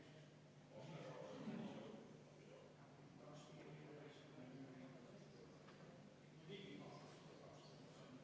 Siis me saame minna hääletuse juurde, seepärast et kümnenda muudatusettepaneku me just menetlesime ära.